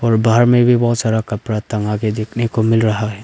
और बाहर में भी बहुत सारा कपरा टंगा के देखने को मिल रहा है।